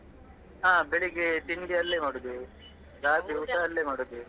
ಹಾ ಬೆಳಿಗ್ಗೆ ತಿಂಡಿ ಅಲ್ಲೇ ಮಾಡುದು ಊಟ ಅಲ್ಲೇ ಮಾಡುದು.